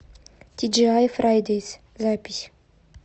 тиджиай фрайдейс запись